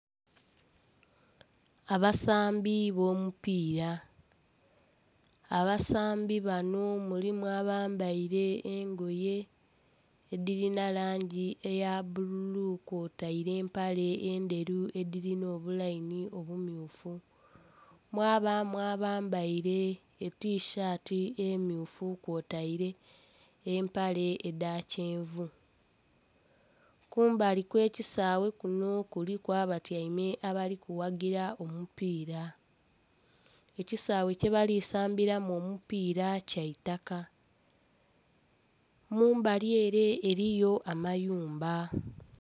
Abasambi b'omupiira; abasambi bano mulimu abambaile engoye edhilina langi eya bbululu kwotaire empale endheru edhilina obulayini obummyufu. Mwabaamu abambaile etishaati emmyufu kwotaile empale edha kyenvu. Kumbali kw'ekisaawe kuno kuliku abatyaime abali kuwagira omupiira. Ekisaawe kyebali sambiramu omupiira kya itaka. Mu mbali ele eliyo amayumba.